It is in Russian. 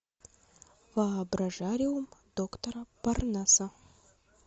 воображариум доктора парнаса